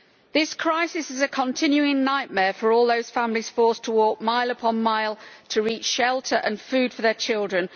This crisis is a continuing nightmare for all those families forced to walk mile upon mile to reach shelter and food for their children.